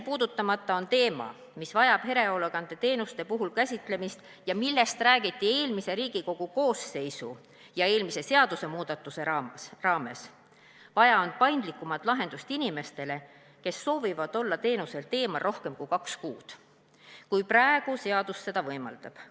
Lõpetuseks teema, mis vajab erihoolekandeteenuse puhul käsitlemist ja millest räägiti eelmise Riigikogu koosseisu ja eelmise seadusemuudatuse raames: vaja on paindlikumat lahendust inimestele, kes soovivad olla teenuselt eemal rohkem kui kaks kuud, nagu praegu seadus seda võimaldab.